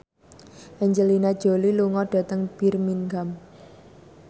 Angelina Jolie lunga dhateng Birmingham